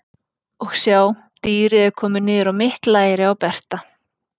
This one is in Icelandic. Og sjá, dýrið er komið niður á mitt læri á Berta.